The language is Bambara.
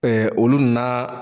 olu na